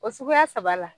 O suguya saba la